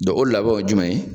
Dɔ o labɛnw ye jumɛn ye?